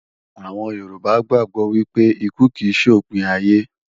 Àwọn Yorùbá gbàgbó wípé ikú kì ṣe òpin ayé